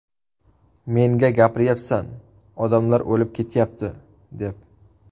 Menga gapiryapsan ‘odamlar o‘lib ketyapti’ deb.